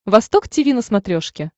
восток тиви на смотрешке